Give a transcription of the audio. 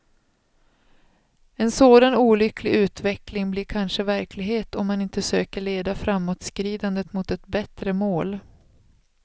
En sådan olycklig utveckling blir kanske verklighet om man inte söker leda framåtskridandet mot ett bättre mål.